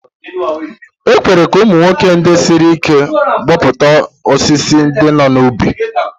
E kwere ka ụmụ nwoke ndị siri ike gbutuo osisi ndị nọ n'ubi.